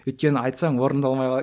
өйткені айтсаң орындалмай қалады